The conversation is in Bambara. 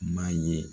M'a ye